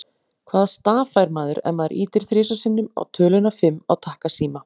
Hvaða staf fær maður ef maður ýtir þrisvar sinnum á töluna fimm á takkasíma?